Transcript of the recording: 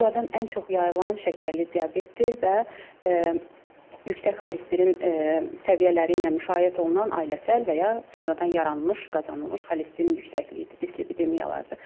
Bunlardan ən çox yayılan şəkərli diabetdir və yüksək xolesterin səviyyələri ilə müşayiət olunan ailəsəl və ya sonradan yaranmış qazanılmış xolesterin yüksəkliyidir, dislipididiyadır.